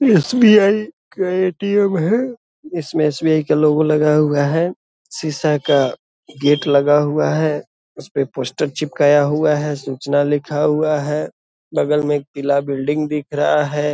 SBI. का ATM. है इसमे एस.बी.आई. का लोगो लगा हुआ है सीसा का गेट लगा हुआ है उसपे पोस्टर चिपकाया हुआ है सूचना लिखा हुआ है बगल मे एक पीला बिल्डिंग दिख रहा है ।